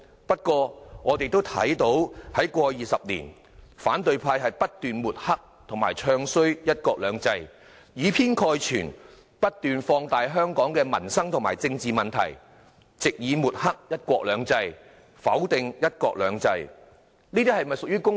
不過，我們也看到過去20年，反對派不斷抹黑和"唱衰""一國兩制"，以偏概全，不斷放大香港的民生和政治問題，藉以抹黑"一國兩制"，否定"一國兩制"，這是否公道？